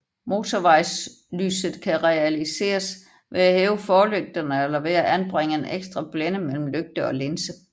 Motorvejslyset kan realiseres ved at hæve forlygterne eller ved at anbringe en ekstra blænde mellem lygte og linse